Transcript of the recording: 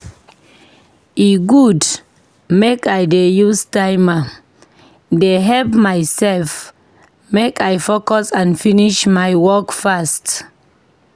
E good make I dey use timer dey help myself make I focus and finish my work fast.